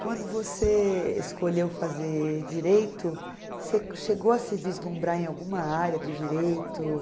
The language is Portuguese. Quando você escolheu fazer direito, você chegou a se vislumbrar em alguma área do direito?